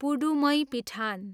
पुढुमैपिठान